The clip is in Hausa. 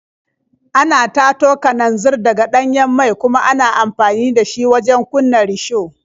Ana tato kananzir daga ɗanyen mai kuma ana amfani da shi wajen kunna risho.